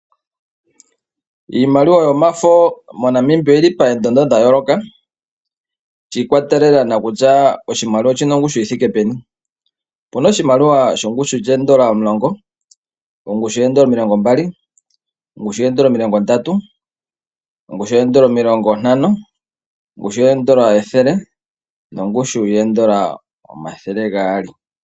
Iimaliwa yomafo moNamibia oyili poondando dhayooloka shi ikwatelela kutya oshimaliwa oshina ongushu yithike peni. Opena oshimaliwa shongushu yoondola omulongo, omilongo mbali, omilongo ndatu, omilongo ntano, ethele nongushu yoondoola omathele gaali.